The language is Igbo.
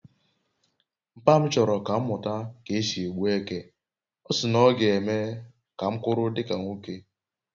mpa m choro ka m muta ka esi e gbu eke, osi na oga eme m ka m kwuru dika nwoke